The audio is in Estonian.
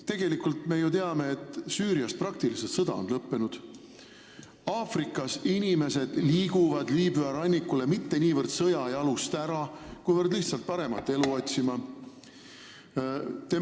Tegelikult me ju teame, et Süürias on sõda praktiliselt lõppenud, Aafrikas inimesed liiguvad Liibüa rannikule mitte niivõrd sõja jalust ära, kuivõrd lihtsalt paremat elu otsima.